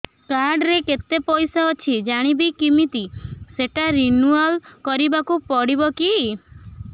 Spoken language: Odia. କାର୍ଡ ରେ କେତେ ପଇସା ଅଛି ଜାଣିବି କିମିତି ସେଟା ରିନୁଆଲ କରିବାକୁ ପଡ଼ିବ କି